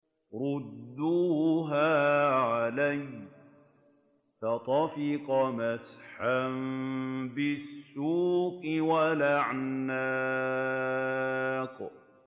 رُدُّوهَا عَلَيَّ ۖ فَطَفِقَ مَسْحًا بِالسُّوقِ وَالْأَعْنَاقِ